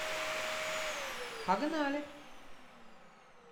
погнали